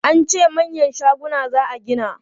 An ce manyan shaguna za a gini.